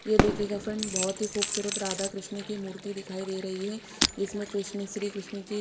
ये दिखेयेगा फ्रेंड्स बहोत ही खुबसुरत राधा कृष्ण की मूर्ति दिखाई दे रही है इसमें कृष्ण श्री कृष्ण जी--